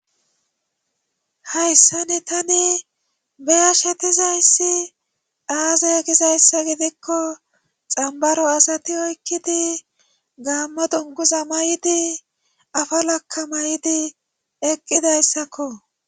Hayssa ne tani beyashetizayssi aaza egizayssa gidikko xambaro asati oykkidi gaamma donkuza may7di afa lakka may7idi eqqidayssakko